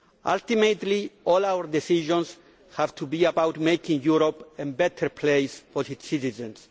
Ultimately all our decisions have to be about making Europe a better place for its citizens.